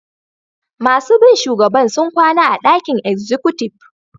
Masun bi shugaban sun kwana a'dakin exikutiv.